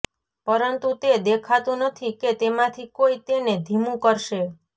પરંતુ તે દેખાતું નથી કે તેમાંથી કોઈ તેને ધીમું કરશે